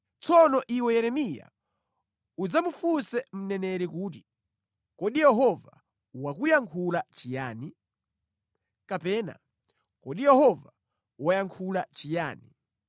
Tsono iwe Yeremiya udzamufunse mneneri kuti, ‘Kodi Yehova wakuyankha chiyani?’ kapena, ‘Kodi Yehova wayankhula chiyani?’